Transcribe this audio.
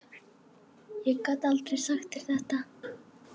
Ég gat aldrei sagt þér þetta.